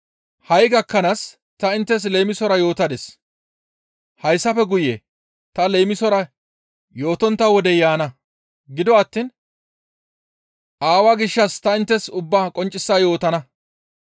«Ha7i gakkanaas ta inttes leemisora yootadis; hayssafe guye ta leemisora yootontta wodey yaana. Gido attiin Aawaa gishshas ta inttes ubbaa qonccisa yootana.